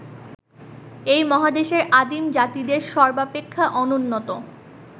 এই মহাদেশের আদিম জাতিদের সর্বাপেক্ষা অনুন্নত